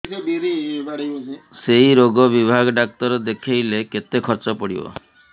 ସେଇ ରୋଗ ବିଭାଗ ଡ଼ାକ୍ତର ଦେଖେଇଲେ କେତେ ଖର୍ଚ୍ଚ ପଡିବ